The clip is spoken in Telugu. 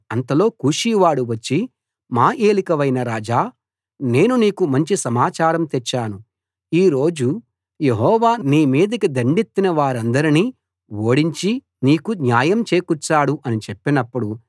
అంతలో కూషీవాడు వచ్చి మా ఏలికవైన రాజా నేను నీకు మంచి సమాచారం తెచ్చాను ఈ రోజు యెహోవా నీ మీదికి దండెత్తిన వారందరినీ ఓడించి నీకు న్యాయం చేకూర్చాడు అని చెప్పినప్పుడు